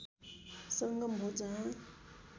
संगम हो जहाँ